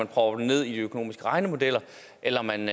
propper den ned i økonomiske regnemodeller eller man